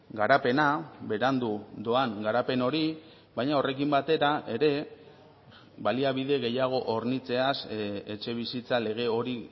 garapena berandu doan garapen hori baina horrekin batera ere baliabide gehiago hornitzeaz etxebizitza lege hori